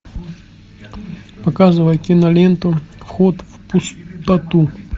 показывай киноленту вход в пустоту